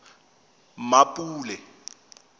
mmapule